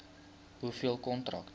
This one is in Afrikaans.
hoeveel kontrakte